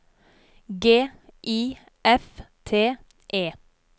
G I F T E